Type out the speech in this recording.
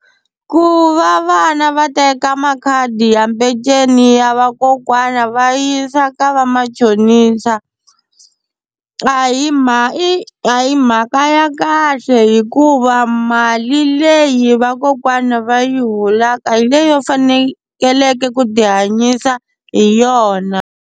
Ku va vana va teka makhadi ya peceni ya vakokwana va yisa ka va machonisa a hi mhaka i a hi mhaka ya kahle hikuva mali leyi vakokwana va yi holaka hi leyo fanekeleke ku ti hanyisa hi yona.